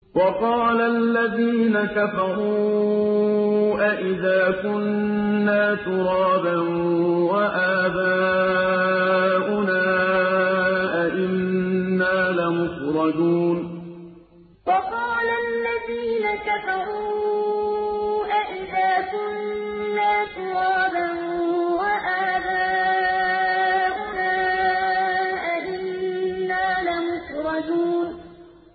وَقَالَ الَّذِينَ كَفَرُوا أَإِذَا كُنَّا تُرَابًا وَآبَاؤُنَا أَئِنَّا لَمُخْرَجُونَ وَقَالَ الَّذِينَ كَفَرُوا أَإِذَا كُنَّا تُرَابًا وَآبَاؤُنَا أَئِنَّا لَمُخْرَجُونَ